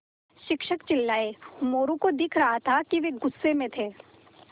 शिक्षक चिल्लाये मोरू को दिख रहा था कि वे गुस्से में थे